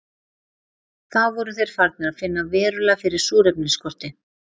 Þá voru þeir farnir að finna verulega fyrir súrefnisskorti.